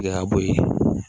Gɛlɛya bɔ ye